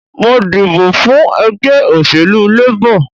Mo dìbọ̀ fún ẹgbẹ́ òṣèlú Labor